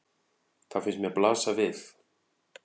Það finnst mér blasa við.